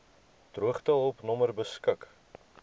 droogtehulp nommer beskik